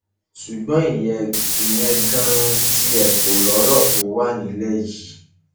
ṣùgbọn ìyẹn ìyẹn ganan tiẹ kọ lọrọ tó wà nílẹ yìí